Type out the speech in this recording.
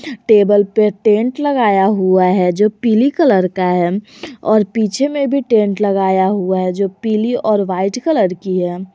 Table पे tent लगाया हुआ है जो पीली कलर का है और पीछे में भी टेंट लगाया हुआ है जो पीली और वाइट कलर की है।